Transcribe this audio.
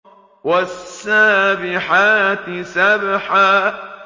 وَالسَّابِحَاتِ سَبْحًا